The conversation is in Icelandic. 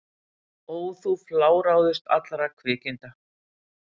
Ó þú fláráðust allra kvikinda!